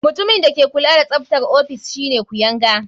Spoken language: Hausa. Mutumin da ke kula da tsaftar ofis shine kuyanga.